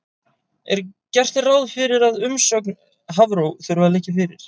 Gert er ráð fyrir að umsögn Hafró þurfi að liggja fyrir.